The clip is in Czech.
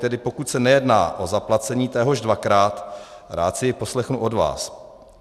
Tedy pokud se nejedná o zaplacení téhož dvakrát, rád si ji poslechnu od vás.